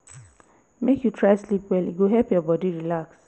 make you try sleep well e go help your bodi relax.